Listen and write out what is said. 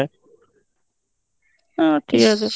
ঠিক আছে